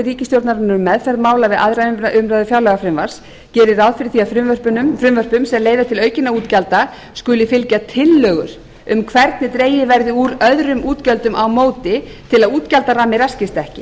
ríkisstjórnarinnar um meðferð mála við aðra umræðu um fjárlagafrumvarp gerir ráð fyrir því að frumvörpum sem leiða til aukinna útgjalda skuli fylgja tillögur um hvernig dregið verði úr öðrum útgjöldum á móti til að útgjaldaramminn raskist ekki